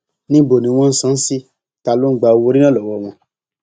níbo ni wọn ń san án sí ta ló ń gba owóorí náà lọwọ wọn